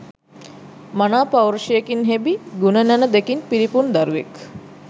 මනා පෞරුෂයකින් හෙබි, ගුණ නැණ දෙකින් පිරිපුන් දරුවෙක්